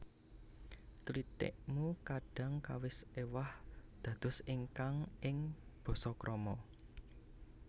Klitik mu kadhang kawis éwah dados ingkang ing basa krama